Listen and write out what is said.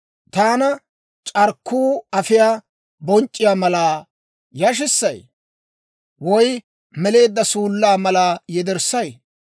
Taana, c'arkkuu afiyaa bonc'c'iyaa malaa, yashissayii? Woy meleedda suullaa malaa yederssay?